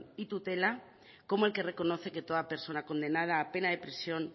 y tutela como el que reconoce que toda persona condenada a pena de prisión